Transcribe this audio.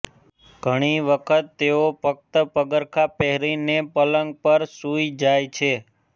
ઘણી વખત તેઓ ફક્ત પગરખાં પહેરીને પલંગ પર સુઈ જાય છે